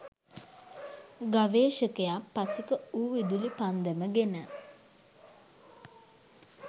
ගවේෂකයා පසෙක වූ විදුලි පන්දම ගෙන